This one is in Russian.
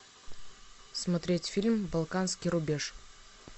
смотреть фильм балканский рубеж